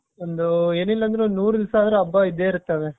ಒಂದು ಏನಿಲ್ಲ ಅಂದ್ರು ಒಂದು ನೂರು ದಿವಸ ಆದ್ರೂ ಹಬ್ಬ ಇದ್ದೇ ಇರ್ತಾವೆ .